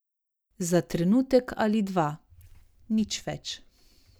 Za trenutek ali dva, nič več.